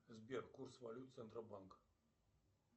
сбер курс валют центробанка